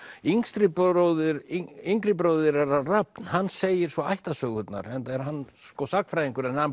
yngri bróðir yngri bróðir þeirra Rafn hann segir svo ættarsögurnar enda er hann sko sagnfræðingur en hann